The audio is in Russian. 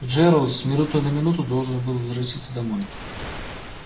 джералд с минуты на минуту должен был возвратиться домой